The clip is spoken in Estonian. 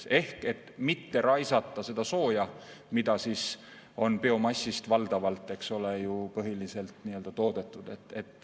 raisata seda sooja, mida siis valdavalt biomassist, eks ole ju, toodetakse.